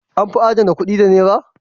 An fi adana kuɗi da Nera?